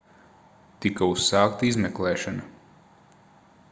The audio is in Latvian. tika uzsākta izmeklēšana